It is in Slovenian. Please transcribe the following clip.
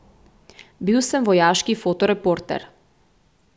Bil sem vojaški fotoreporter.